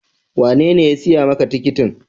Wanene ya siya ma ka tikitin?